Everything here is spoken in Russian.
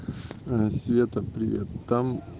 света привет там